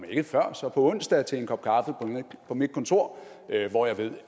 ikke før så på onsdag til en kop kaffe på mit kontor hvor jeg ved